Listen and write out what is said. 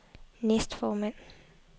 næstformand